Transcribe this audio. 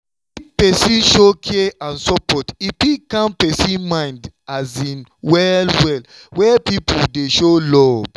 if person show care and support e fit calm person mind well-well where people dey show love.